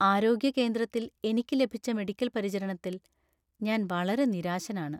ആരോഗ്യ കേന്ദ്രത്തിൽ എനിക്ക് ലഭിച്ച മെഡിക്കൽ പരിചരണത്തിൽ ഞാൻ വളരെ നിരാശനാണ്.